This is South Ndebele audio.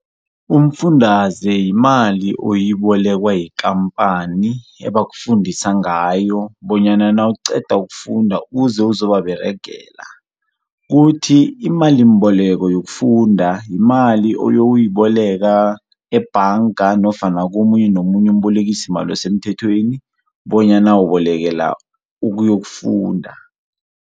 Umfundaze yimali oyibolekwa yikampani, abafukundisa ngayo bonyana nawuqeda ukufunda uze uzobaberege. Kuthi imalimboleko yokufunda, yimali oyoyiboleka ebhanga nofana komunye nomunye umbolekisimali osemthethweni bonyana ubolekela ukuyokufunda.